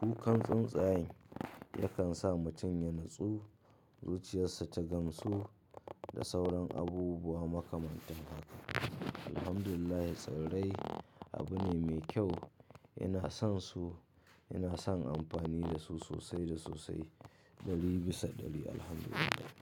kukan tsuntsaye yakan sa mutum ya natsu, zuciyarsa ta gamsu da sauran abubuwa makamantan haka. Alhamdulillah tsirrai abu ne mai kyau. Ina son su, ina son amfani da su sosai da sosai ɗari bisa ɗari Alhamdulillah.